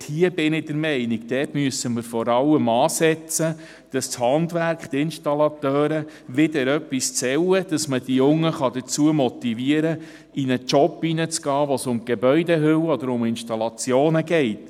Ich bin der Meinung, dort müssten wir vor allem ansetzen, damit das Handwerk, die Installateure wieder etwas zählen, dass man die Jungen dazu motivieren kann, in einen Job zu gehen, bei dem es um Gebäudehüllen oder um Installationen geht.